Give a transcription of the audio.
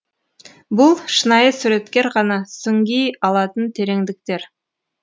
бұл шынайы суреткер ғана сүңги алатын тереңдіктер